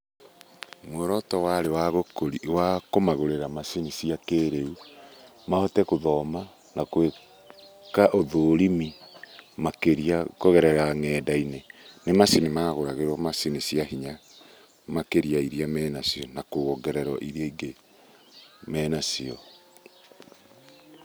Muoroto warĩ wa kũmagũrĩra macini cia kĩrĩu, mahote gũthoma na gwĩka ũthũrimi makĩria kũgerera nenda-inĩ, nĩ macini magũragĩrwo macini cia hinya, makĩrĩa ya iria menacio na kuongerera irĩa ingĩ menacio.